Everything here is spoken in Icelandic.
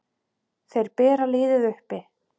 Þeir bera liðið uppi.